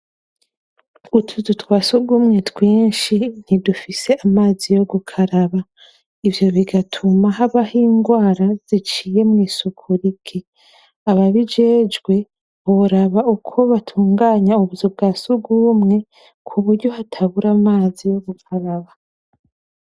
Utuzu twa surwumwe twinshi ntidufise amazi yo gukaraba. Ivyo bigatuma habaho ingwara ziciye mw'isuku rike. Ababijejwe, boraba ukwo batunganya ubuzu bwa surwumwe kuburyo hatabura amazi yo gukaraba.